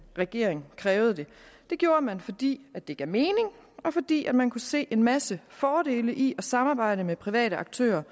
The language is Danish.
regering krævede det det gjorde man fordi det gav mening og fordi man kunne se en masse fordele i at samarbejde med private aktører